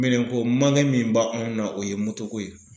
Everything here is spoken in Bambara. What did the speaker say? Minɛnko min ba an na o ye ko ye.